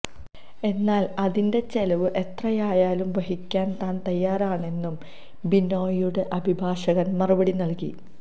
എന്നാൽ അതിന്റെ ചെലവ് എത്രയായാലും വഹിക്കാൻ താൻ തയ്യാറാണെന്നും ബിനോയിയുടെ അഭിഭാഷകൻ മറുപടി നൽകി